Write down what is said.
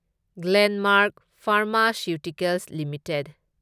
Glenmark pharmaceuticals limited